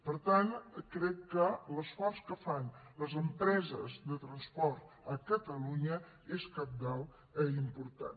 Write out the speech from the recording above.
per tant crec que l’esforç que fan les empreses de transport a catalunya és cabdal i important